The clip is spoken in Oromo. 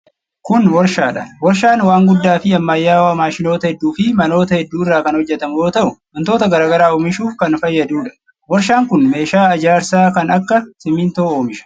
Kun warshaa dha. Warshaan waan guddaa fi ammayyawaa maashinoota hedduu fi manoota hedduu irraa kan hojjatamu yoo ta'u, wantoota garaa garaa oomishuuf kan fayyaduu dha. Warshaan kun meeshaa ijaarsaa kan akka simiintoo oomisha.